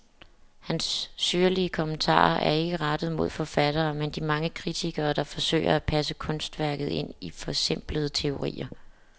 Hans syrlige kommentarer er ikke rettet mod forfatterne, men de mange kritikere, der forsøger at passe kunstværket ind i forsimplende teorier.